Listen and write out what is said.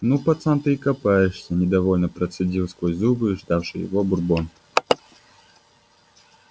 ну пацан ты и копаешься недовольно процедил сквозь зубы ждавший его бурбон